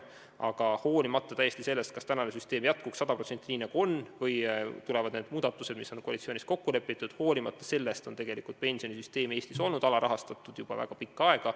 Aga olenemata sellest, kas praegune süsteem jääb sada protsenti samaks nagu praegu või tulevad need muudatused, mis on koalitsioonis kokku lepitud, võib öelda, et tegelikult on pensionisüsteem Eestis olnud alarahastatud juba väga pikka aega.